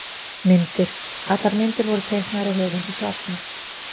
Myndir: Allar myndir voru teiknaðar af höfundi svarsins.